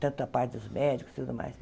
tanto a parte dos médicos, tudo mais.